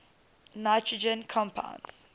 nitrogen compounds